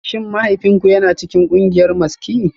Shin mahaifinku yana cikin kungiyar maski?